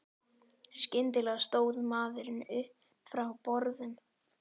Skyndilega stóð maðurinn upp frá borðum.